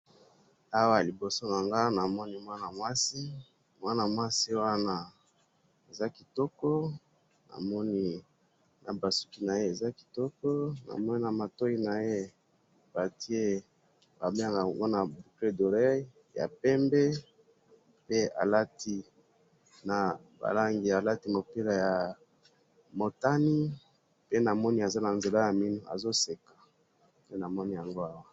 Awa liboso na Ngai namoni mwana mwasi. Mwana mwasi Wana aza kitoko, namoni na basuki naye Eza kitoko, namoni na matoyi naye batie Wana boucle d'oreille ya pembe. Pe alati mopila ya motani. Pe namoni aza na nzela ya mino. Azo seka. Nde namoni ya ngo awa